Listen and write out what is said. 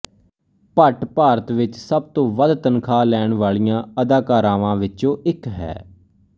ਭੱਟ ਭਾਰਤ ਵਿੱਚ ਸਭ ਤੋਂ ਵੱਧ ਤਨਖਾਹ ਲੈਣ ਵਾਲੀਆਂ ਅਦਾਕਾਰਾਵਾਂ ਵਿੱਚੋਂ ਇੱਕ ਹੈ